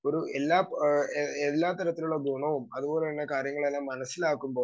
speaker 2 ഒരു എല്ലാ അഹ് എല്ലാതരത്തിലുള്ള ഗുണവും അതുപോലെതന്നെ കാര്യങ്ങളെല്ലാം മനസ്സിലാക്കുമ്പോ